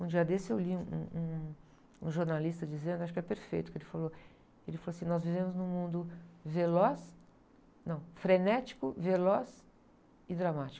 Um dia desse eu li um, um, um jornalista dizendo, acho que é perfeito o que ele falou, ele falou assim, nós vivemos num mundo veloz, não, frenético, veloz e dramático.